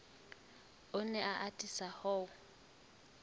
o ne a atisa ho